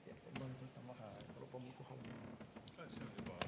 Aitäh!